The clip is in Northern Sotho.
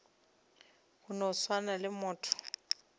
go no swana le motho